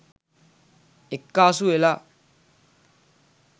එක්කාසු වෙලා.